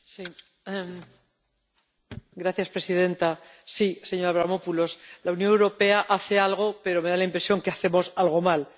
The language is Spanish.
Señora presidenta. Sí, señor Avramopoulos, la Unión Europea hace algo, pero me da la impresión de que hacemos algo mal.